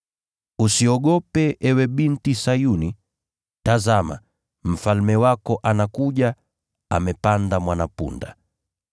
“Usiogope, Ewe binti Sayuni; tazama, Mfalme wako anakuja, amepanda mwana-punda!”